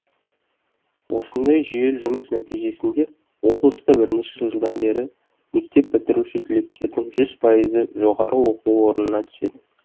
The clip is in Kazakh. осындай жүйелі жұмыс нәтижесінде облыста бірнеше жылдан бері мектеп бітіруші түлектердің жүз пайызы жоғары оқу орнына түседі